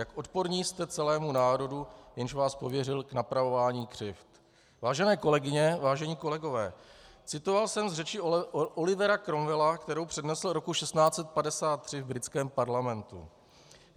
Jak odporní jste celému národu, jenž vás pověřil k napravování křivd. - Vážené kolegyně, vážení kolegové, citoval jsem z řeči Olivera Cromwella, kterou přednesl roku 1653 v britském parlamentu.